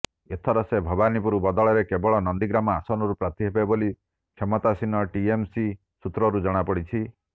ଏଥର ସେ ଭବାନୀପୁର ବଦଳରେ କେବଳ ନନ୍ଦିଗ୍ରାମ ଆସନରୁ ପ୍ରାର୍ଥୀ ହେବେ ବୋଲି କ୍ଷମତାସୀନ ଟିଏମସି ସୂତ୍ରରୁ ଜଣାପଡ଼ିଛି